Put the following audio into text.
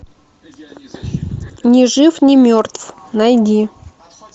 не жив не мертв найди